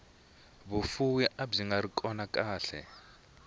vufuvi abyingari kona khale